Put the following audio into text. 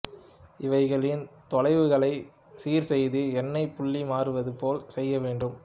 இவைகளின் தொலைவுகளை சீர்செய்து எண்ணெய் புள்ளி மாறுவது போல் செய்யவேண்டும்